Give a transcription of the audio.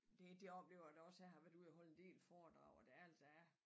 Det det oplever jeg da også jeg har været ude og holde en del foredrag og der er altså er